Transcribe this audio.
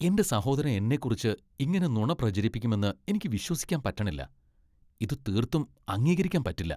എന്റെ സഹോദരൻ എന്നെക്കുറിച്ച് ഇങ്ങനെ നുണ പ്രചരിപ്പിക്കുമെന്ന് എനിക്ക് വിശ്വസിക്കാൻ പറ്റണില്ല. ഇത് തീർത്തും അംഗീകരിക്കാൻ പറ്റില്ല.